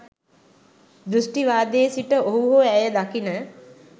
දෘෂ්ටිවාදයේ සිට ඔහු හෝ ඇය දකින